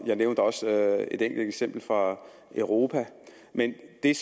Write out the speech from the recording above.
jeg nævnte også et enkelt eksempel fra europa men det